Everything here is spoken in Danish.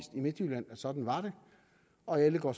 midtjylland at sådan var det og alle går